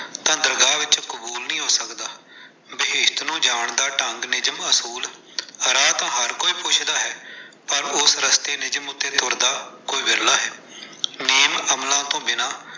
ਤਾਂ ਦਰਗਾਹ ਵਿੱਚ ਕਬੂਲ ਨਹੀਂ ਹੋ ਸਕਦਾ। . ਢੰਗ, ਨਿਯਮ, ਅਸੂਲ, ਰਾਹ ਤਾਂ ਹਰ ਕੋਈ ਪੁੱਛਦਾ ਹੈ। ਪਰ ਉਸ ਰਸਤੇ ਤੇ ਤੁਰਦਾ ਕੋਈ ਵਿਰਲਾ ਹੈ। ਨੇਮ ਅਮਲਾਂ ਤੋਂ ਬਿਨਾਂ ਤਾਂ ਦਰਗਾਹ ਵਿੱਚ ਕਬੂਲ ਨਹੀਂ ਹੋ ਸਕਦਾ।